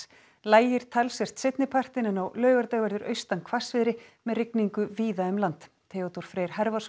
lægir talsvert seinni partinn en á laugardag verður austan hvassviðri með rigningu víða um land Theodór Freyr